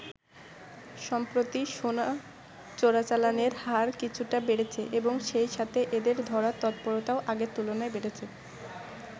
সম্প্রতি সোনা চোরাচালানের হার কিছুটা বেড়েছে এবং সেই সাথে এদের ধরার তৎপরতাও আগের তুলনায় বেড়েছে।